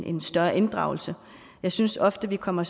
en større inddragelse jeg synes ofte vi kommer